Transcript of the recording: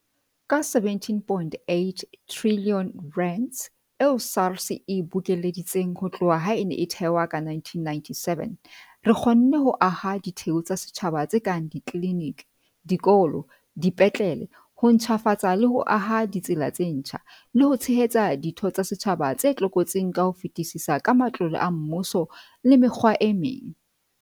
Ka R17.8 trilione eo SARS e bokeleditseng ho tloha ha e ne e thehwa ka 1997, re kgonne ho aha ditheo tsa setjhaba tse kang ditliniki, dikolo, dipetlele, ho ntjhafatsa le ho aha ditsela tse ntjha, le ho tshehetsa ditho tsa setjhaba tse tlokotsing ka ho fetisisa ka matlole a mmuso le mekgwa e meng.